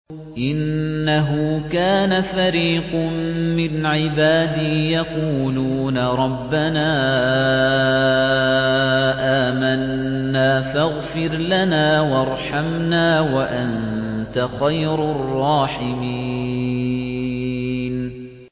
إِنَّهُ كَانَ فَرِيقٌ مِّنْ عِبَادِي يَقُولُونَ رَبَّنَا آمَنَّا فَاغْفِرْ لَنَا وَارْحَمْنَا وَأَنتَ خَيْرُ الرَّاحِمِينَ